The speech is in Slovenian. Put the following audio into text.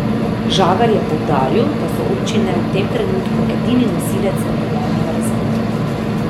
Žagar je poudaril, da so občine v tem trenutku edini nosilec regionalnega razvoja.